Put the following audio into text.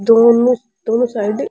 दूकान में दोनों साइड --